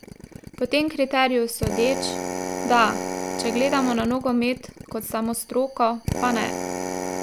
Po tem kriteriju sodeč, da, če gledamo na nogomet kot samo stroko, pa ne.